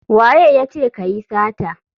Wa ya ce ka yi sata?